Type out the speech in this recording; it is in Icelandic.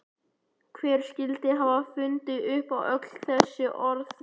Hver skyldi hafa fundið upp öll þessi orð?